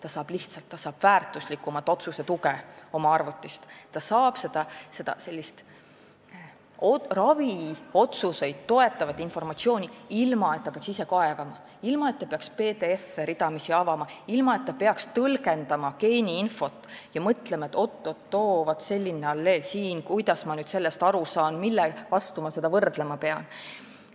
Arst saab lihtsalt otsuse tegemisel väärtuslikku tuge oma arvutist, ta saab raviotsuseid toetavat informatsiooni, ilma et ta peaks ise kaevama, ilma et ta peaks ridamisi PDF-e avama, ilma et ta peaks tõlgendama geeniinfot ja mõtlema, et oot-oot-oot, vaat selline alleel siin, kuidas ma nüüd sellest aru saan, millega ma seda võrdlema pean.